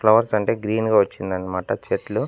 Flowers అంటే green గా వచ్చింది అన్నమాట చెట్లు.